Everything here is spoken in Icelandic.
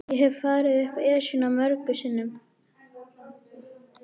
Ég hef farið upp Esjuna mörgum sinnum.